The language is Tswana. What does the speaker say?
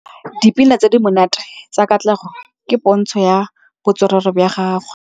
Dipina tse di monate tsa Katlego ke pôntshô ya botswerere jwa gagwe.